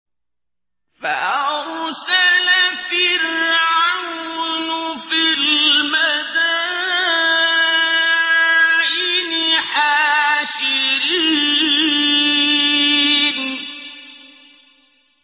فَأَرْسَلَ فِرْعَوْنُ فِي الْمَدَائِنِ حَاشِرِينَ